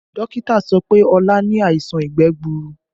Dókítà sọ pé Olu ni àìsàn ìgbẹ́ gbuuru